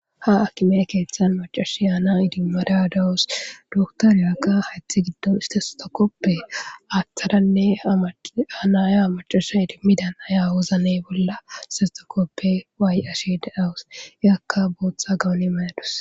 ha akimee keeththan macashi yaana idimarya dawus doktaryakka haythi giddon istesotakoppe aaththadanne anaya amacasha idimmidan aya wozanne bolla sestakoppe waay-ashe da7awus eakka booththa gawani mayadus